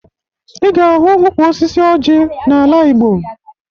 Ị ga-ahụ ukwu osisi ọjị n'ala Igbo